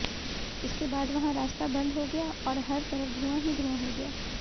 इसके बाद वहां रास्ता बंद हो गया और हर तरफ धुंआ ही धुंआ हो गया